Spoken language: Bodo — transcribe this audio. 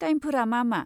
टाइमफोरा मा मा?